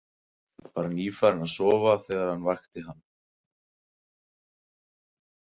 Var nýfarinn að sofa þegar hann vakti hann.